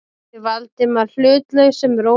spurði Valdimar hlutlausum rómi.